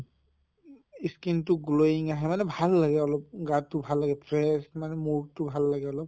skin টো glowing হয় মানে ভাল লাগে অলপ গাটো ভাল হৈ থাকিলে মানে mood টো ভাল লাগে অলপ